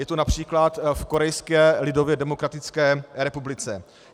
Je to například v Korejské lidově demokratické republice.